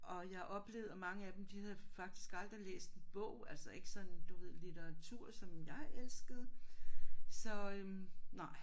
Og jeg oplevede at mange af dem de havde faktisk aldrig læst en bog altså ikke sådan du ved litteratur som jeg elskede så øh nej